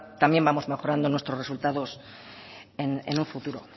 también vamos mejorando nuestros resultados en un futuro